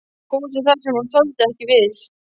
Húsi þar sem hún þoldi ekki við?